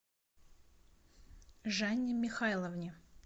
жанне михайловне